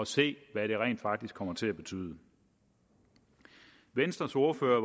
se hvad det rent faktisk kommer til at betyde venstres ordfører